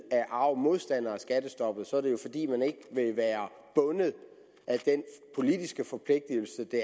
er arg modstander af skattestoppet er det jo fordi man ikke vil være bundet af den politiske forpligtigelse